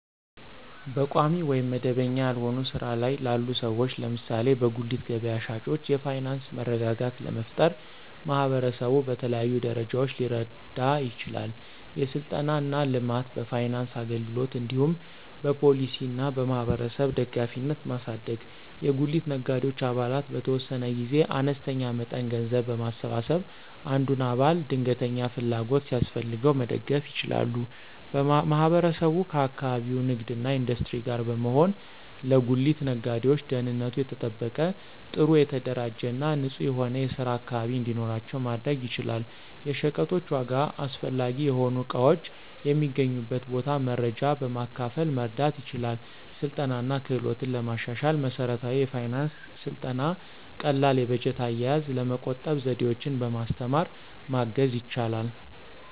በቋሚ ወይም መደበኛ ያልሆነ ሥራ ላይ ላሉ ሰዎች (ለምሳሌ በጉሊት ገበያ ሻጮች) የፋይናንስ መረጋጋት ለመፍጠር ማህበረሰቡ በተለያዩ ደረጃዎች ሊረዳ ይችላል። የሥልጠና እና ልማት፣ በፋይናንስ አገልግሎት እንዲሁም በፖሊሲ እና በማህበረሰብ ደጋፊነትን ማሳደግ። የጉሊት ነጋዴዎች አባላት በተወሰነ ጊዜ አነስተኛ መጠን ገንዘብ በማሰባሰብ አንዱን አባል ድንገተኛ ፍላጎት ሲያስፈልገው መደገፍ ይችላሉ። ማህበረሰቡ ከአካባቢው ንግድ እና ኢንዱስትሪ ጋር በመሆን ለጉሊት ነጋዴዎች ደህንነቱ የተጠበቀ፣ ጥሩ የተደራጀ እና ንጹህ የሆነ የስራ አካባቢ እንዲኖራቸው ማድረግ ይችላል። የሸቀጦች ዋጋ፣ አስፈላጊ የሆኑ እቃዎች የሚገኙበት ቦታ መረጃ በማካፈል መርዳት ይችላል። ስልጠና እና ክህሎትን ለማሻሻል መሠረታዊ የፋይናንስ ሥልጠና ቀላል የበጀት አያያዝ፣ ለመቆጠብ ዘዴዎችን በማስተማር ማገዝ ይችላል።